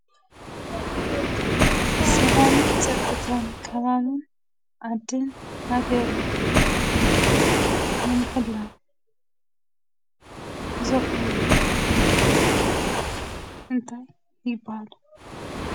ሰላምን ፀጥታን ከባቢ ዓዲን ሃገርን ብምሕላው ዘኸብሩ እንታይ ይባሃሉ?